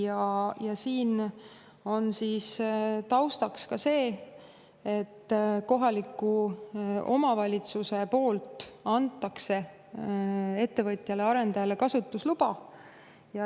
Taustaks ka seda, et kohaliku omavalitsuse poolt antakse ettevõtjale, arendajale kasutusluba.